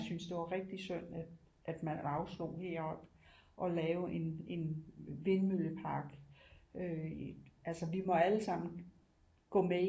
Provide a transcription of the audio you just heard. Jeg synes det var rigtig synd at man afstod heroppe at lave en vindmøllepark øh altså vi må allesammen gå med